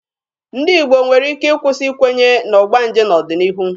Ndị Igbo nwere ike ịkwụsị ikwenye na ọgbanje n'ọdịnihu.